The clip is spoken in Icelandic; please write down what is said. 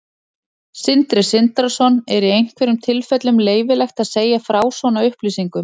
Sindri Sindrason: Er í einhverjum tilfellum leyfilegt að segja frá svona upplýsingum?